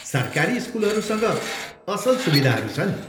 सरकारी स्कुलहरूसँग असल सुविधाहरू छन्।